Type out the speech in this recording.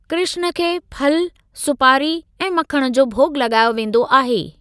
कृष्‍ण खे फल, सुपारी ऐं मक्‍खण जो भोॻ लॻायो वेंदो आहे।